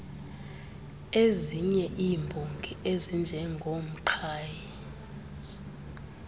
iezinye iimbongi ezinjengoomqhayi